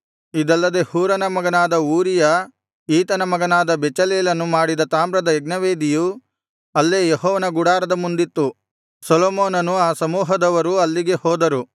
ಇದಲ್ಲದೆ ಹೂರನ ಮಗನಾದ ಊರಿಯ ಈತನ ಮಗನಾದ ಬೆಚಲೇಲನು ಮಾಡಿದ ತಾಮ್ರದ ಯಜ್ಞವೇದಿಯು ಅಲ್ಲೇ ಯೆಹೋವನ ಗುಡಾರದ ಮುಂದಿತ್ತು ಸೊಲೊಮೋನನೂ ಆ ಸಮೂಹದವರೂ ಅಲ್ಲಿಗೆ ಹೋದರು